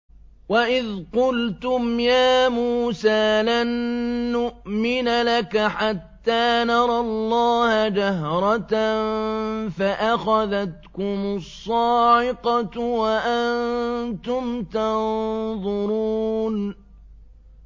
وَإِذْ قُلْتُمْ يَا مُوسَىٰ لَن نُّؤْمِنَ لَكَ حَتَّىٰ نَرَى اللَّهَ جَهْرَةً فَأَخَذَتْكُمُ الصَّاعِقَةُ وَأَنتُمْ تَنظُرُونَ